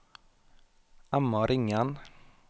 Emma Ringen